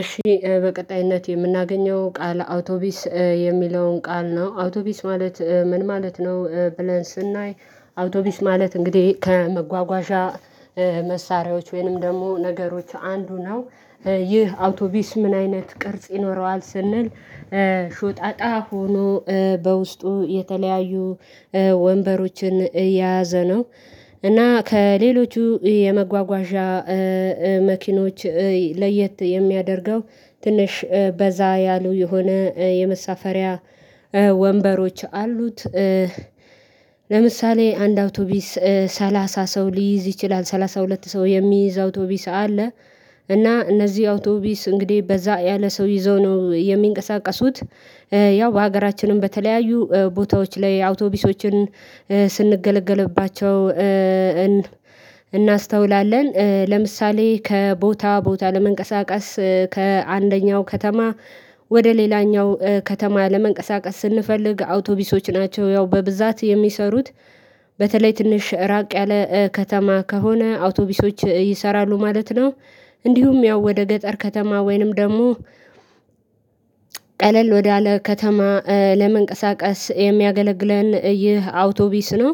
እሺ በቀጣይነት የምናገኘው ቃል አውቶቢስ የሚለውን ቃል ነው። አውቶቢስ ማለት ምን ማለት ነው። ብለን ስናይ አውቶቢስ ማለት እንግዲህ ከመጓጓዣ መሳሪያዎች ወይንም ደግሞ ነገሮች አንዱ ነው። ይህ አውቶቢስ ምን አይነት ቅርጽ ይኖረዋል ስንል ሾጣጣ ሆኖ በውስጡ የተለያዩ ወንበሮችን የያዘ ነው እና ከሌሎቹ የመጓጓዣ መኪኖች ለየት የሚያደርገው ትንሽ በዛ ያሉ የሆነ የመሳፈሪያ ወንበሮች አሉት። ለምሳሌ አንድ አውቶቢስ ሰላሳ ሰው ሊይዝ ይችላል ሰላሳ ሁለት ሰው የሚይዝ አውቶቢስ አለ። እና እነዚህ አውቶቢስ እንግዲህ በዛ ያለ ሰው ይዘው ነው የሚንቀሳቀሱት። ያው በሀገራችንም በተለያዩ ቦታዎች ላይ አውቶቢሶችን ስንገለገልባቸው እናስተውላለን ለምሳሌ ከቦታ ቦታ ለመንቀሳቀስ ከአንደኛው ከተማ ወደ ሌላኛው ከተማ ለመንቀሳቀስ ስንፈልግ አውቶቢሶች ናቸው ያው በብዛት የሚሰሩት። በተለይ ትንሽ ራቅ ያለ ከተማ ከሆነ አውቶቢሶች ይሰራሉ እንዲሁም ያው ወደ ገጠር ከተማ ወይንም ደግሞ ቀለል ወዳለ ከተማ ለመንቀሳቀስ የሚያገለግለን ይህ አውቶቢስ ነው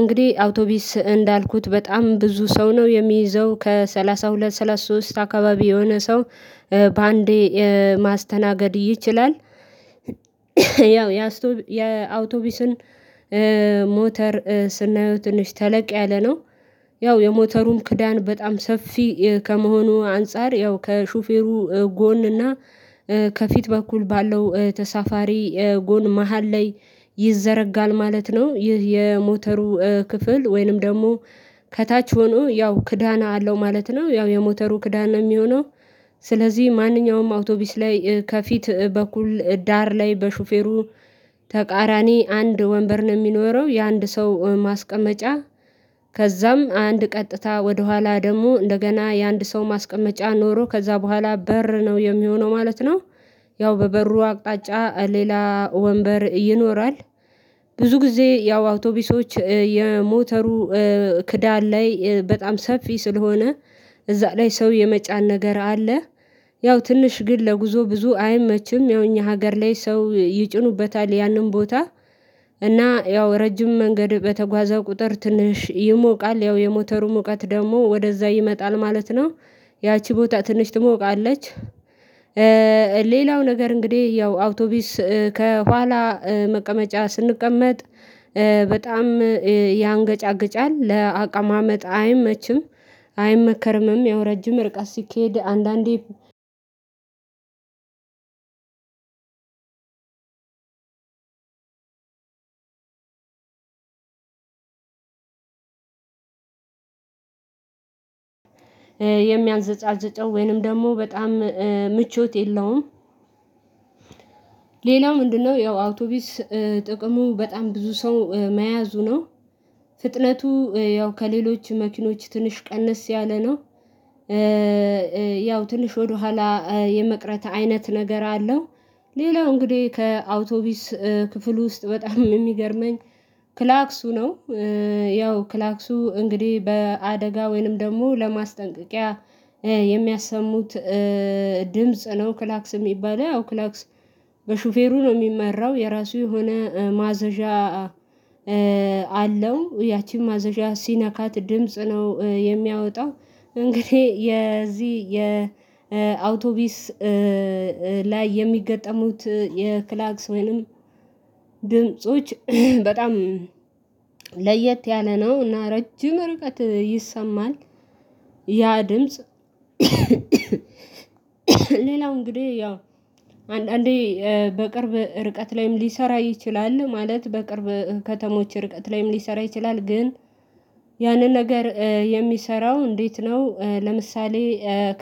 እንግዲህ አውቶቢስ እንዳልኩት በጣም ብዙ ሰው ነው የሚይዘው ከሰላሳ ሁለት ሰላሳ ሶስት አካባቢ የሆነ ሰው በአንዴ ማስተናገድ ይችላል። ያው የአውቶቢሱን ሞተር ስናየው ትንሽ ተለቅ ያለ ነው። ያው የሞተሩም ክዳን በጣም ሰፊ ከመሆኑ አንፃር ያው ከሹፌሩ ጎን እና ከፊት በኩል ባለው ተሳፋሪ ጎን መሃል ላይ ይዘረጋል ማለት ነው። ይህ የሞተሩ ክፍል ወይንም ደግሞ ከታች ሆኖ ያው ክዳን አለው ማለት ነው ያው የሞተሩ ክዳና የሚሆነው ስለዚህ ማንኛውም አውቶቢስ ላይ ከፊት በኩል ዳር ላይ በሹፌሩ ተቃራኒ አንድ ወንበር ነው የሚኖረው የአንድ ሰው ማስቀመጫ ከዛም አንድ ቀጥታ ወደኋላ ደግሞ እንደገና የአንድ ሰው ማስቀመጫ ኖሮ ከዛ ቦኋላ በር ነው የሚሆነው ማለት ነው። ያው በበሩ አቅጣጫ ሌላ ወንበር ይኖራል ብዙ ጊዜ ያው አውቶቢሶች የሞተሩ ክዳን ላይ በጣም ሰፊ ስለሆነ እዛ ላይ ሰው የመጫን ነገር አለ። ያው ትንሽ ግን ለጉዞ ብዙ አይመችም ያው እኛ ሀገር ላይ ሰው ይጭኑበታል ያንን ቦታ አና ያው ረጅም መንገድ በተጓዛው ቁጥር ትንሽ ይሞቃል ያው የሞተሩ ሙቀት ደግሞ ወደዛ ይመጣል ማለት ነው። ያቺ ቦታ ትንሽ ትሞቃለች ሌላው ነገር እንግዲህ ያው አውቶቢስ ከኋላ መቀመጫ ስንቀመጥ በጣም ያንገጫግጫል ለአቀማመጥ አይመችም። አይመከርምም ያው ረጅም ሪቀት ሲኬድ አንዳንዴ የሚያንዘጋጅጠው ወይንም ደግሞ በጣም ምቾት የለውም። ሌላው ምንድነው ያው አውቶቢስ ጥቅሙ በጣም ብዙ ሰው መያዙ ነው። ፍጥነቱ ያው ከሌሎች መኪኖች ትንሽ ቀንስ ያለ ነው። ያው ትንሽ ወደኋላ የመቅረት አይነት ነገር አለው። ሌላው እንግዲህ ከአውቶቢስ ክፍል ውስጥ በጣም የሚገርመኝ ክላክሱ ነው። ያው ክላክሱ እንግዲህ በአደጋ ወይንም ደግሞ ለማስጠንቀቂያ የሚያሰሙት ድምጽ ነው። ክላክስ የሚባለው ክላክስ በሹፌሩ ነው የሚመራው የራሱ የሆነ ማዘዣ አለው ያቺን ማዘዣ ሲነካት ድምጽ ነው የሚያወጣው እንግዲህ የዚህ የአውቶቢስ ላይ የሚገጠሙት የክላክስ ወይንም ድምጾች በጣም ለየት ያለ ነው እና ረጅም ርቀት ይሰማል። ያ ድምጽ ሌላው እንግዲህ ያው አንዳንዴ በቅርብ ርቀት ላይም ሊሰራ ይችላል ማለት በቅርብ ከተሞች ርቀት ላይም ሊሰራ ይችላል። ግን ያንን ነገር የሚሰራው እንዴት ነው ለምሳሌ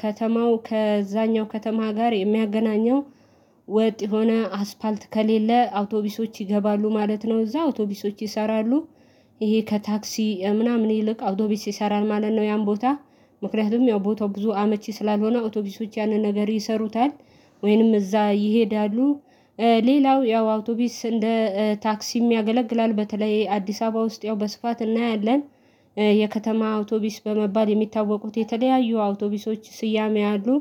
ከተማው ከዛኛው ከተማ ጋር የሚያገናኘው ወጥ የሆነ አስፋልት ከሌለ አውቶቢሶች ይገባሉ ማለት ነው እዛ አውቶቢሶች ይሰራሉ። ይሄ ከታክሲ ምናምን ይልቅ አውቶቢስ ይሰራል ማለት ነው። ያን ቦታ ምክንያቱም ያው ቦታው ብዙ አመቺ ስላልሆነ አዉቶቢሶች ያንን ነገር ይሰሩታል ወይንም እዛ ይሄዳሉ። ሌላው ያው አውቶቢስ እንደ ታክሲም ያገለግላል በተለይ አዲስ አበባ ውስጥ ያው በስፋት እናያለን። የከተማ አውቶቢስ በመባል የሚታወቁት የተለያዩ አውቶቢሶች ስያሜ አሉ